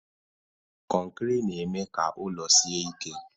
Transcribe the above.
Kọnkịrị na-eme ka ụlọ sie ike.